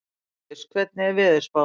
Líus, hvernig er veðurspáin?